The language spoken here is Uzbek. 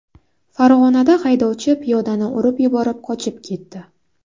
Farg‘onada haydovchi piyodani urib yuborib qochib ketdi.